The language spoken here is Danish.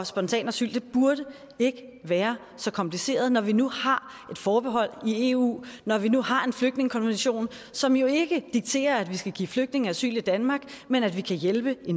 spontanasyl burde ikke være så kompliceret når vi nu har et forbehold i eu og når vi nu har en flygtningekonvention som jo ikke dikterer at vi skal give flygtninge asyl i danmark men at vi kan hjælpe i